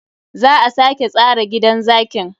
Za a sake tsara gidan zakin.